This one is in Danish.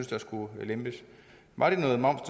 der skulle lempes var det noget moms